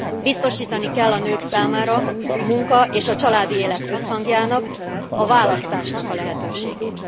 Biztosítani kell a nők számára a munka és a családi élet összhangjának, a választásnak a lehetőségét.